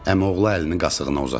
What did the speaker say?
Əmioğlu əlini qasığına uzatdı.